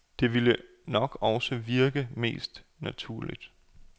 Det ville nok også virke mest naturligt.